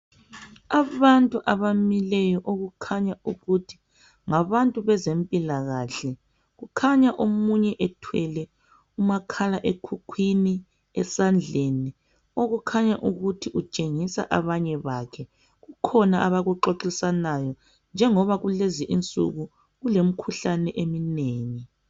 Abantu abamileyo okukhanya ukuthi ngabantu bezempilakhe kukhanya omunye ethwele umakhala ekhukhwini esandleni okukhanya ukuthi utshengisa abanye bakhe kukhona abakuxoxisanayo njengoba kulezinsuku kulemikhuhlane eminengi.